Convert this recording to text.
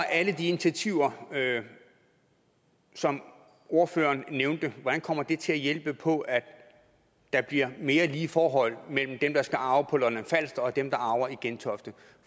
alle de initiativer som ordføreren nævnte kommer til at hjælpe på at der bliver mere lige forhold mellem dem der skal arve på lolland falster og dem der arver i gentofte